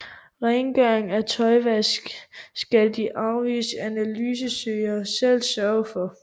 Rengøring og tøjvask skal de afviste asylansøgere selv sørge for